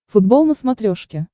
футбол на смотрешке